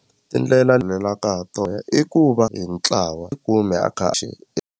Tindlela ha tona i ku va hi ntlawa kumbe